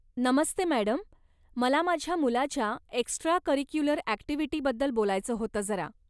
नमस्ते madam, मला माझ्या मुलाच्या एक्स्ट्रा करिक्युलर ॲक्टिव्हिटीबद्दल बोलायचं होतं जरा.